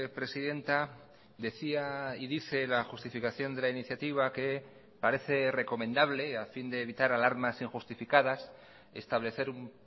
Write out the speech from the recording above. presidenta decía y dice la justificación de la iniciativa que parece recomendable a fin de evitar alarmas injustificadas establecer un